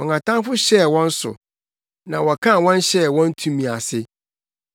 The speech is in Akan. Wɔn atamfo hyɛɛ wɔn so na wɔkaa wɔn hyɛɛ wɔn tumi ase.